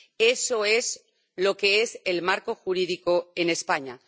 eso es lo que es el marco jurídico en España.